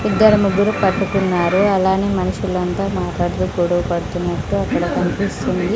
ఇద్దరు ముగ్గురు పట్టుకున్నారు అలానే మనుషులంతా మాట్లాడుతూ గొడవ పడుతున్నట్టు అక్కడ కన్పిస్తుంది.